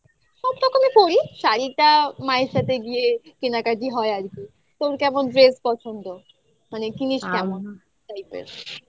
সব রকমই পড়ি শাড়িটা মায়ের সাথে গিয়ে কেনাকাটি হয় আর কি তোর কেমন dress পছন্দ? মানে কিনিস কেমন? হ্যাঁ type এর